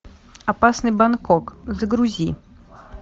опасный бангкок загрузи